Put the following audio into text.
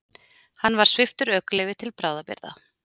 Hann var sviptur ökuleyfi til bráðabirgða